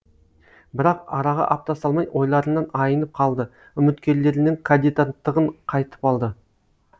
бірақ араға апта салмай ойларынан айнып қалды үміткерлерінің кандидаттығын қайтып алды